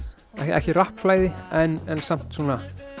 ekki en samt svona